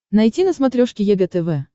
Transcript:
найти на смотрешке егэ тв